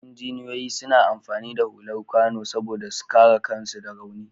Injiniyoyi suna amfani da hular kwano saboda su kare kansu da rauni.